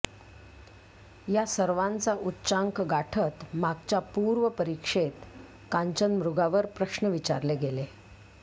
या सर्वांचा उच्चांक गाठत मागच्या पूर्व परीक्षेत कांचनमृगावर प्रश्न विचारले गेले